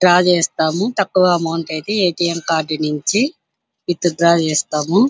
Draw చేస్తాము తక్కువ amount ఐతే ఏ. టి. ఎం కార్డు నుంచి విత్డ్రా చేస్తాము.